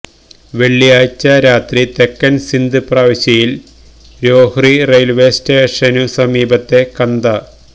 വെള്ളിയാഴ്ച രാത്രി തെക്കൻ സിന്ധ് പ്രവിശ്യയിൽ രോഹ്രി റെയിൽവേ സ്റ്റേഷനുസമീപത്തെ കന്ദ